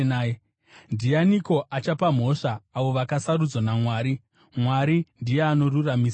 Ndianiko achapa mhosva avo vakasarudzwa naMwari? Mwari ndiye anoruramisira.